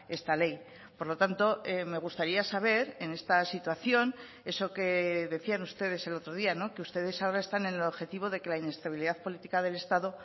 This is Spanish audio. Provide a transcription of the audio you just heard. esta ley por lo tanto me gustaría saber en esta situación eso que decían ustedes el otro día que ustedes ahora están en el objetivo de que la inestabilidad política del estado